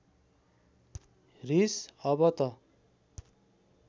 रिस अब त